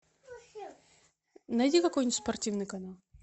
найди какой нибудь спортивный канал